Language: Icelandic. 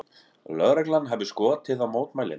Lögreglan hafi skotið á mótmælendur